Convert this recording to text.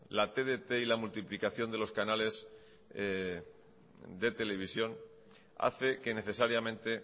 la tdt y la multiplicación de los canales de televisión hace que necesariamente